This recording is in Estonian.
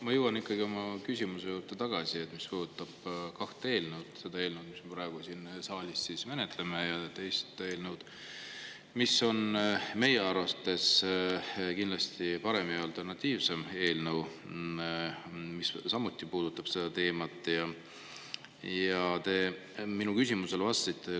Ma jõuan ikkagi tagasi oma küsimuse juurde, mis puudutab kahte eelnõu: seda eelnõu, mis me praegu siin saalis menetleme, ja teist eelnõu, mis on meie arvates kindlasti parem, see on alternatiivne eelnõu, mis puudutab samuti seda teemat.